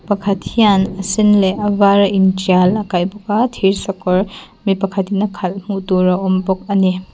pakhat hian a sen leh a var a in tial a kaih bawk a thirsakawr mi pakhatin a khalh hmuh tur a awm bawk ani.